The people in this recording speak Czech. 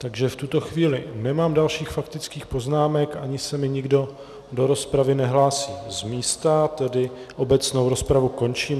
Takže v tuto chvíli nemám dalších faktických poznámek ani se mi nikdo do rozpravy nehlásí z místa, tedy obecnou rozpravu končím.